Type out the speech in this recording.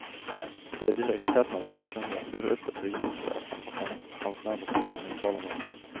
Det är direkt häpnadsväckande hur öppet regementschefen och hans närmaste man nu talar med oss.